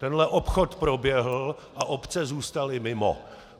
Tenhle obchod proběhl a obce zůstaly mimo.